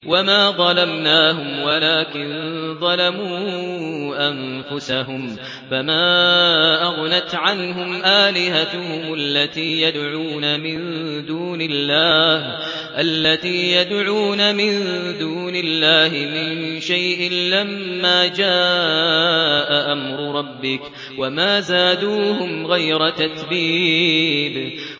وَمَا ظَلَمْنَاهُمْ وَلَٰكِن ظَلَمُوا أَنفُسَهُمْ ۖ فَمَا أَغْنَتْ عَنْهُمْ آلِهَتُهُمُ الَّتِي يَدْعُونَ مِن دُونِ اللَّهِ مِن شَيْءٍ لَّمَّا جَاءَ أَمْرُ رَبِّكَ ۖ وَمَا زَادُوهُمْ غَيْرَ تَتْبِيبٍ